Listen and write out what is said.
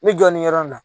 N bɛ jɔ nin yɔrɔ in na